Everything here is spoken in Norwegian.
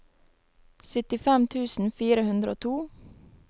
syttifem tusen fire hundre og to